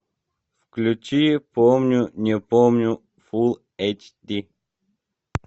включи помню не помню фул эйч ди